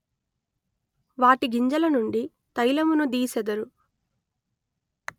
వాటి గింజల నుండి తైలమును దీసెదరు